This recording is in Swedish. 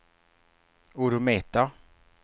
odometer